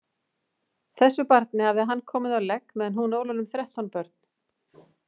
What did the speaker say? Þessu barni hafði hann komið á legg meðan hún ól honum þrettán börn.